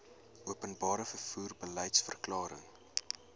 openbare vervoer beliedsverklaring